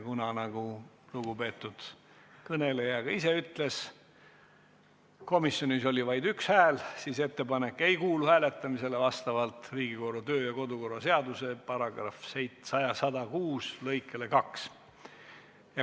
Kuna, nagu lugupeetud kõneleja ka ise ütles, sai see komisjonis vaid ühe hääle, siis vastavalt Riigikogu kodu- ja töökorra seaduse § 106 lõikele 2 ei kuulu see ettepanek hääletamisele.